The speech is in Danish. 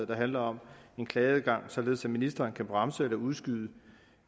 der handler om klageadgang således at ministeren kan bremse eller udskyde